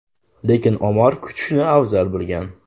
Lekin Omar kutishni afzal bilgan.